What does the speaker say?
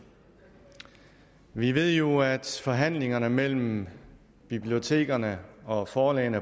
vi ved jo at forhandlingerne mellem bibliotekerne og forlagene